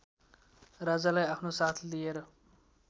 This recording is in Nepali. राजालाई आफ्नो साथ लिएर